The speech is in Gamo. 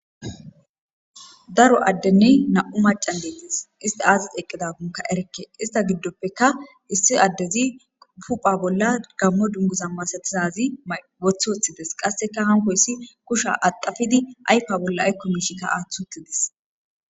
daro a1@denne nam'u macan deettis ista aazis eqqidagonka erekke ista giddoppeka issi addezi pupha bolla gammo dunguza masatizazi wothoththides qasseka hanko issi kusha adafidi aypa bolla aykko miishikka aaththi uttidis